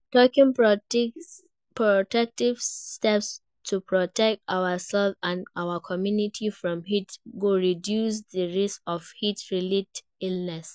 taking proactive steps to protect ourselves and our communities from heat go reduce di risk of heat-related illness.